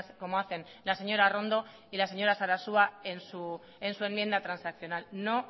como hacen la señora arrondo y la señora sarasua en su enmienda transaccional no